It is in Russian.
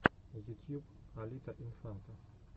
ютьюб алита инфанта